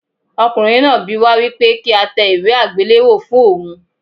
Ọkùnrin náà bi wá wípé kí á tẹ ìwé àgbéléwò fún ohun.